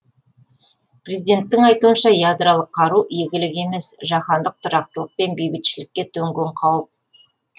президенттің айтуынша ядролық қару игілік емес жаһандық тұрақтылық пен бейбітшілікке төнген қауіп